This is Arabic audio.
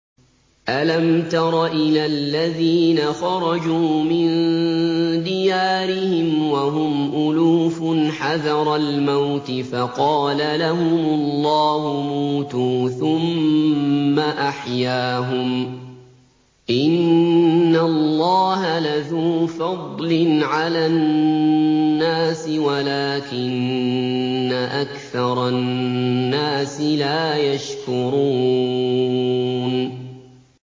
۞ أَلَمْ تَرَ إِلَى الَّذِينَ خَرَجُوا مِن دِيَارِهِمْ وَهُمْ أُلُوفٌ حَذَرَ الْمَوْتِ فَقَالَ لَهُمُ اللَّهُ مُوتُوا ثُمَّ أَحْيَاهُمْ ۚ إِنَّ اللَّهَ لَذُو فَضْلٍ عَلَى النَّاسِ وَلَٰكِنَّ أَكْثَرَ النَّاسِ لَا يَشْكُرُونَ